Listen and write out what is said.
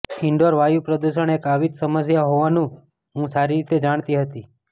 indoor વાયુ પ્રદૂષણ એક આવી જ સમસ્યા હોવાનું હું સારી રીતે જાણતી હતી